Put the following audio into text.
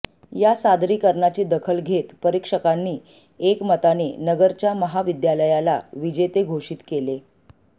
या सादरीकरणाची दखल घेत परीक्षकांनी एकमताने नगरच्या महाविद्यालयाला विजेते घोषित केले